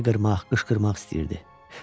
Hayqırmaq, qışqırmaq istəyirdi.